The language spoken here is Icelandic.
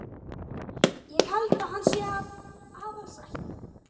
Ég held að hann sé af aðalsættum.